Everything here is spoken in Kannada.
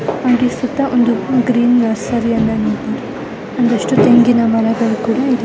ಹಾಗೆ ಸುತ್ತ ಒಂದು ಗ್ರೀನ್ ನರ್ಸರಿ ಅನ್ನ ಒಂದಿಷ್ಟು ತೆಂಗಿನ ಮರಗಳು ಕೂಡ ಇದೆ .